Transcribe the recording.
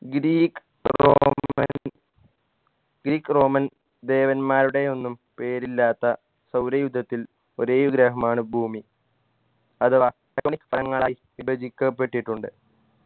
greek roman greek roman ദേവന്മാരുടെയൊന്നും പേരില്ലാത്ത സൗരയൂഥത്തിൽ ഒരേ ഗ്രഹമാണ് ഭൂമി അഥവാ വിഭജിക്കപ്പെട്ടിട്ടുണ്ട്